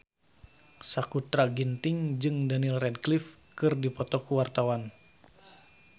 Sakutra Ginting jeung Daniel Radcliffe keur dipoto ku wartawan